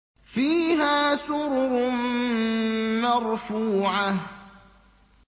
فِيهَا سُرُرٌ مَّرْفُوعَةٌ